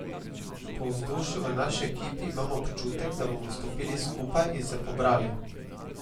Po vzdušju v naši ekipi imam občutek, da bomo stopili skupaj in se pobrali.